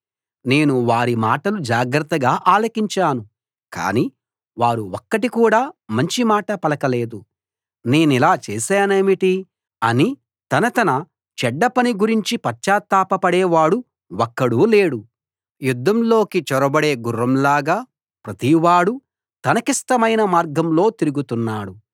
నేను వారి మాటలు జాగ్రత్తగా ఆలకించాను కానీ వారు ఒక్కటి కూడా మంచి మాట పలకలేదు నేనిలా చేశానేమిటి అని తన తన చెడ్డ పని గురించి పశ్చాత్తాపపడే వాడు ఒక్కడూ లేడు యుద్ధంలోకి చొరబడే గుర్రం లాగా ప్రతివాడూ తనకిష్టమైన మార్గంలో తిరుగుతున్నాడు